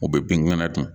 U bɛ binkɛna ta